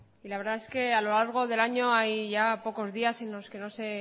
y la verdad es que a lo largo del año hay ya pocos días en los que no se